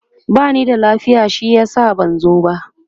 bani da lafiya shi yasa ban zo ba